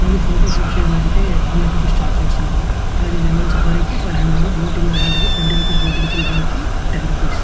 అలాగే jungle safari చేయల్లంటే hundred rupees charge చేస్తున్నారు అలాగే జనరల్ సఫారీ కి ఫైవ్ హండ్రెడ్ బోటింగ్ ఎల్దానికి ట్వంటీ రూపీస్ బోటింగ్ చిల్డ్రన్ కి టెన్ రూపీస్ --